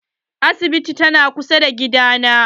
Asibitin ta na kusa da gida na.